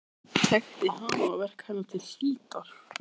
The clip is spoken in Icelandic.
Þekkti hana og verk hennar til hlítar.